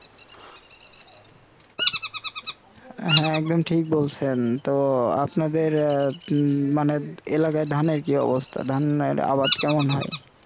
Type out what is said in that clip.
হ্যাঁ একদম ঠিক বলছেন তো আপনাদের উহ মানে এলাকায় ধানের কি অবস্থা ধানের আবাদ কেমন হয়